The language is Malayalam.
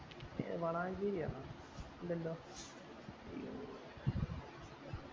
ഏർ വളാഞ്ചേരി ആണോ ന്തിണ്ടോ